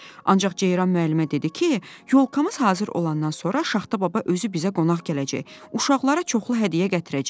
"Ancaq Ceyran müəllimə dedi ki, yolkamız hazır olandan sonra Şaxta baba özü bizə qonaq gələcək, uşaqlara çoxlu hədiyyə gətirəcək."